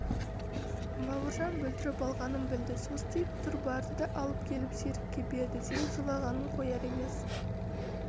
бауыржан бүлдіріп алғанын білді состиып тұр барды да алып келіп серікке берді серік жылағанын қояр емес